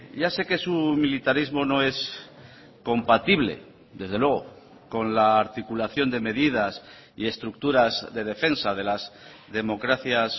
ya sé que su militarismo no es compatible desde luego con la articulación de medidas y estructuras de defensa de las democracias